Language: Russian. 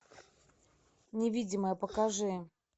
невидимая покажи